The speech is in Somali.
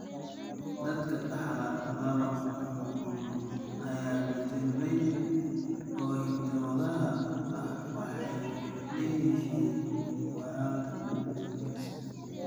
Dadka dhaxla laba nuqul oo beddelmay oo hidda-wadaha ah waxay leeyihiin yaraanta borotiinka C.